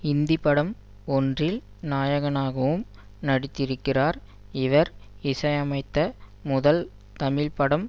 இந்தி படம் ஒன்றில் நாயகனாகவும் நடித்திருக்கிறார் இவர் இசையமைத்த முதல் தமிழ் படம்